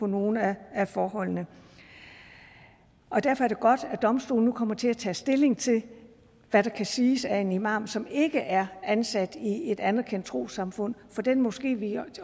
nogle af forholdene derfor er det godt at domstolene nu kommer til at tage stilling til hvad der kan siges af en imam som ikke er ansat i et anerkendt trossamfund for den moské vi